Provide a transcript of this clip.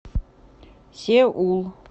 сеул